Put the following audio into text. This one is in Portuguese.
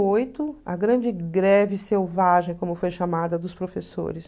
oito, a grande greve selvagem, como foi chamada, dos professores.